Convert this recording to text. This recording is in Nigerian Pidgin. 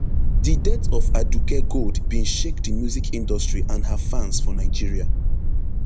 di death of aduke gold bin shake di music industry and her fans for nigeria